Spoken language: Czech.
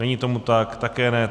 Není tomu tak, také ne.